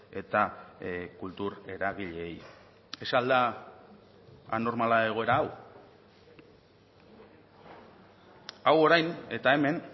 eta kultur eragileei ez al da anormala egoera hau hau orain eta hemen